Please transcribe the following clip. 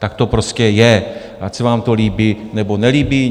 Tak to prostě je, ať se vám to líbí, nebo nelíbí.